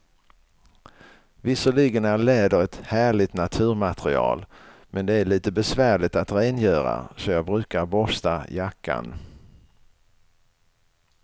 Visserligen är läder ett härligt naturmaterial, men det är lite besvärligt att rengöra, så jag brukar borsta jackan.